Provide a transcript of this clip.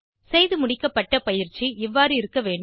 செய்துமுடிக்கப்பட்ட பயிற்சி இவ்வாறு இருக்க வேண்டும்